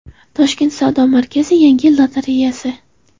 Toshkent savdo markazi: Yangi yil lotereyasi.